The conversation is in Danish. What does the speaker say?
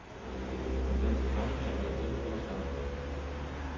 Og blandt præsterne er der ikke fodslag.